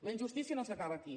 la injustícia no s’acaba aquí